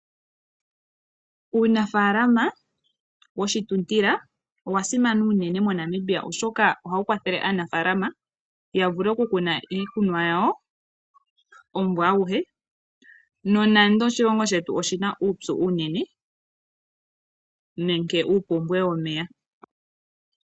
Uunafalama woshituntila, owa simana unene moNamibia oshoka ohawu kwathele aanafaalama ya vule oku kuna iikunomwa yawo omumvo aguhe, nonando oshilongo shetu oshina uupyu unene, nenge ompumbwe yomeya .